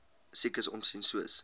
siekes omsien soos